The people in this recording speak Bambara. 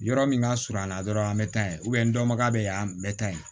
Yɔrɔ min ka surun a la dɔrɔn an bɛ taa yen n dɔnbaga bɛ yan n bɛ taa yen